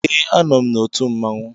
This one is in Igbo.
Ee, anọ m n'otu mmanwụ.